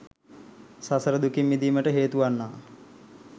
සසර දුකින් මිදීමට හේතුවන්නා